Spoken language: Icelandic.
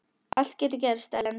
Allt getur gerst, Ellen.